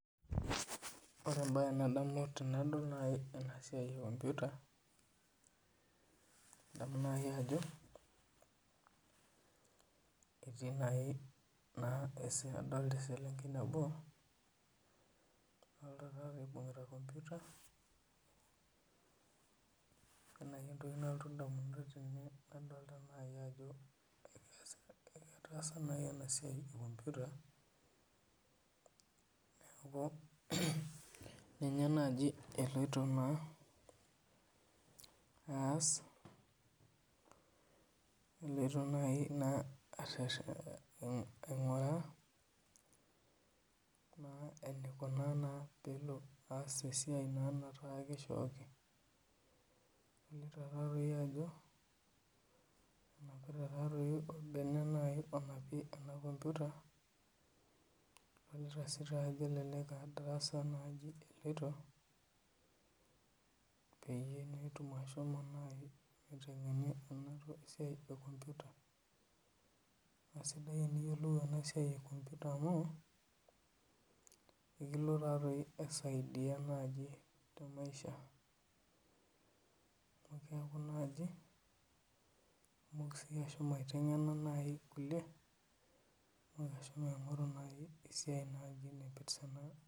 Ore ebae nadamu tenadol naaji ena siai e computer nadamu naaji ajo ketii naji adolta elsenkei nabo naibungita computer kadolta naji ajo etaada naji ena siai e computer neeku ninye naji eloito naa aas. eleoto naijo naji aingura naa pe elo aas esiai naa kajo kishooki. adolta taa doi ajo enapita naa olbene naaji onapita ena computer tenitaasi elelek aa darasa naji eloito pee melo eitu itengeni ena siai e computer .esidai teniyiolou ena siai e computer ekilotu taa dii aisidai naaji te maisha. keeku naji itumoki sii iyie naji aitengena irkulie. aigoru naji esiai naipirta ena.